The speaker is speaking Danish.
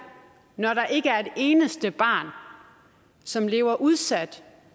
når der ikke er et eneste barn som lever udsat